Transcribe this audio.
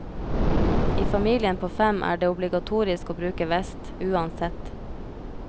I familien på fem er det obligatorisk å bruke vest, uansett.